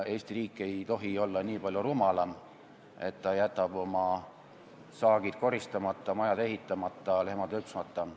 Eesti riik ei tohi olla nii palju rumalam, et ta jätab oma saagid koristamata, majad ehitamata ja lehmad lüpsmata.